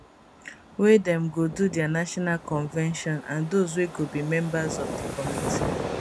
wey dem go do dia national convention and dose wey go be members of di committee